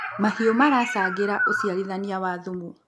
mahiũ maracangagira ucirathanĩa wa thumu